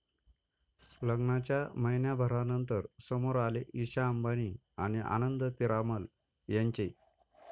लग्नाच्या महिन्याभरानंतर समोर आले ईशा अंबानी आणि आनंद पीरामल यांचे